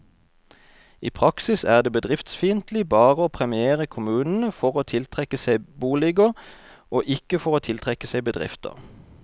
I praksis er det bedriftsfiendtlig bare å premiere kommunene for å tiltrekke seg boliger, og ikke for å tiltrekke seg bedrifter.